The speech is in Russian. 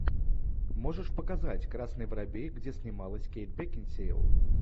можешь показать красный воробей где снималась кейт бекинсейл